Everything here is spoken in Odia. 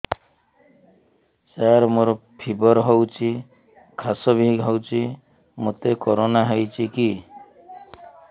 ସାର ମୋର ଫିବର ହଉଚି ଖାସ ବି ହଉଚି ମୋତେ କରୋନା ହେଇଚି କି